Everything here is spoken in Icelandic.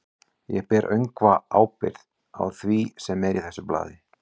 Ég ber öngva ábyrgð á því, sem er í þessu blaði.